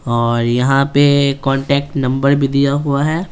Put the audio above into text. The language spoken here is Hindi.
और यहाँ पे कांटेक्ट नंबर भी दिया हुआ है।